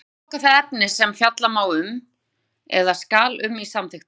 Unnt er að flokka það efni sem fjalla má eða skal um í samþykktum.